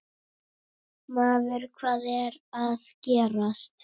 Maður, hvað er að gerast?